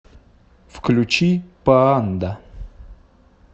включи паанда